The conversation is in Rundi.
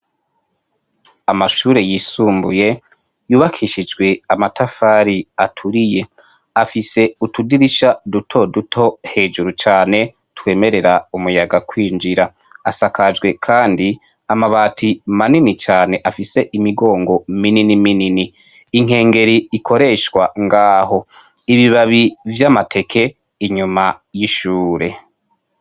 Amashure y'isumbuye yubakishijwe amatafari aturiye , afise utudirisha duto duto hejuru cane twemerera umuyaga kwinjira, asakajwe kandi amabati manini cane afise imigongo minini minini, inkengeri ikoreshwa ngaho , ibibabi vy'amateke inyuma y'ishure.